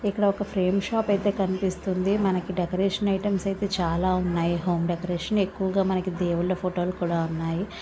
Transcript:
ఇక్కడ ఒక frame shop అయితే కనిపిస్తుంది. మనకు డేకరెషన్ ఐటమ్స్ అయితే చాలా ఉన్నాయి. హోం డెకరెషన్ ఎక్కువగా మనకు దేవుళ్ళ ఫొటోలు కూడా ఉన్నాయి.